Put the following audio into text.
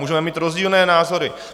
Můžeme mít rozdílné názory.